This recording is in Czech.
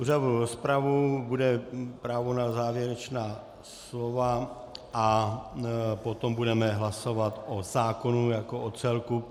Uzavřu rozpravu, bude právo na závěrečná slova a potom budeme hlasovat o zákonu jako o celku.